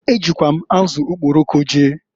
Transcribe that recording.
E jikwa m azụ okporoko jee.